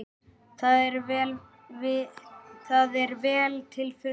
Það er vel til fundið.